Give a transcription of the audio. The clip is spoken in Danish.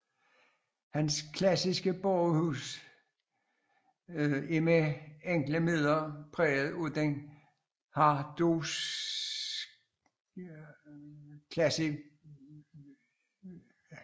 Hans klassicistiske borgerhuse er med enkle midler er præget af den harsdorffske klassicisme